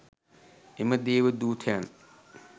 එම දේව දූතයන්